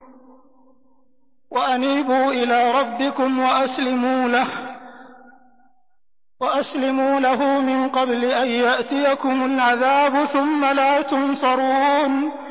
وَأَنِيبُوا إِلَىٰ رَبِّكُمْ وَأَسْلِمُوا لَهُ مِن قَبْلِ أَن يَأْتِيَكُمُ الْعَذَابُ ثُمَّ لَا تُنصَرُونَ